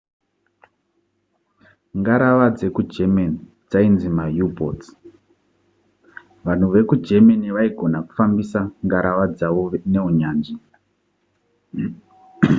ngarava dzekugerman dzainzi mau-boats vanhu vekugermany vaigona kufambisa ngarava dzavo neunyanzvi